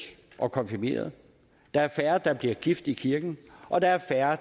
og konfirmeret at der er færre der bliver gift i kirken og at der er færre